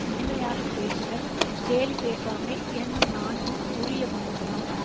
இனிமையாக பேசுதல் கேலி பேசாமை என்னும் நான்கும் உரிய குணங்களாம்